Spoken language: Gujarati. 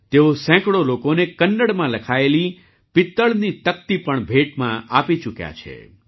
તેઓ સેંકડો લોકોને કન્નડમાં લખાયેલી પિત્તળની તકતી પણ ભેટમાં આપી ચૂક્યા છે